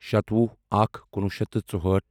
سَتوُہ اکھ کُنوُہ شیٚتھ تہٕ ژوٚہٲٹھ